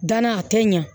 Danna a tɛ ɲa